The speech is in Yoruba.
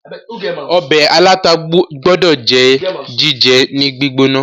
ọbẹ̀ aláta gbódò jẹ́ jíjẹ ní gbígbóná